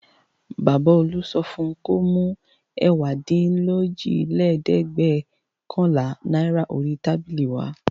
Baba Olú sọ fún un kó mú ẹ̀wádínlójìlélẹ́ẹ̀dẹ́gbẹ̀ọ̀kànlá náírà orí tábìlì wá.